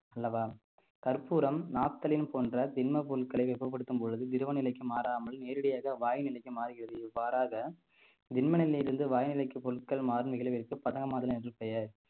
அல்லவா கற்பூரம் naphthalene போன்ற திண்ம பொருட்களை வெப்பப்படுத்தும் பொழுது திரவ நிலைக்கு மாறாமல் நேரடியாக வாயு நிலைக்கு மாறுகிறது இவ்வாறாக திண்ம நிலையிலிருந்து வாயுநிலைக்கு பொருட்கள் பதனமாதல் என்று பெயர்